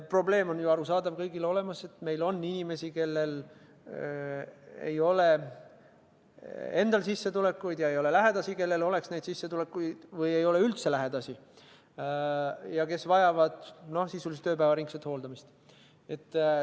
Probleem on ju kõigile arusaadav: meil on inimesi, kellel ei ole sissetulekut ega lähedasi, kellel oleks see sissetulek, või ei ole neil üldse lähedasi ja kes vajavad sisuliselt ööpäevaringset hooldamist.